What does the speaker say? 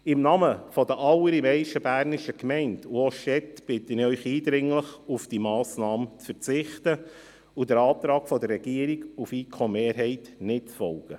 Im Namen der allermeisten bernischen Gemeinden und auch der Städte bitte ich Sie eindringlich, auf diese Massnahme zu verzichten und dem Antrag der Regierung und der FiKo-Mehrheit nicht zu folgen.